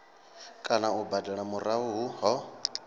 kana u badela murahu ho